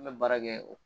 An bɛ baara kɛ o